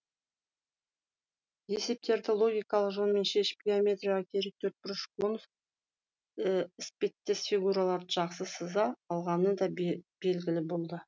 есептерді логикалық жолмен шешіп геометрияға керек төртбұрыш конус іспеттес фигурларды жақсы сыза алғаны да белгілі болды